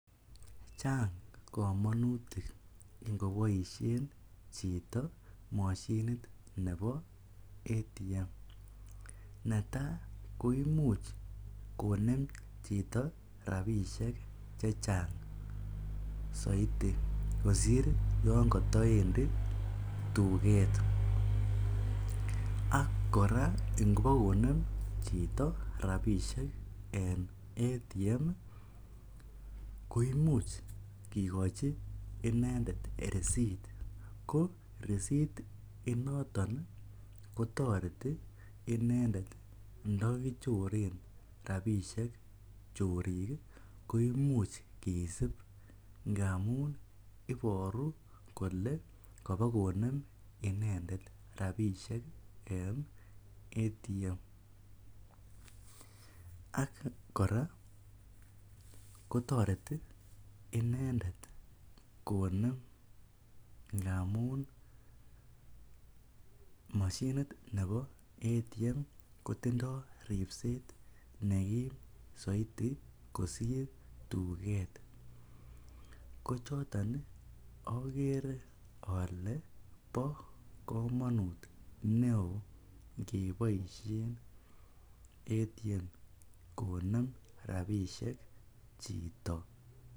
Chang' komonutik ngoboisien chito moshinit nebo ATM. Netai koimuch konem chito rabisiek chechang' soidi kosir yon kotoendi tuget. Ak kora ingobokonem chito rabisiek en ATM koimuch kikochi inendet risit ko risit inoton ii kotoreti inendet ndokichoren rabisiek chorik koimuch kisib ngamun iboru kole kobo konem inendet rabisiek en ATM. Ak kora kotoreti inendet konem ngamun moshinit nebo ATM kotindo ripset nekim soiti kosir tuket. Kochoton okere ole bo komonut neo ingeboisien ATM konem rabisiek chito.